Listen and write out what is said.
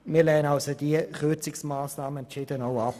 Wir lehnen somit diese Kürzungsmassnahme entschieden ab.